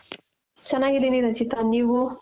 ಚೆನ್ನಾಗಿದೀನಿ ರಚಿತ ನೀವು .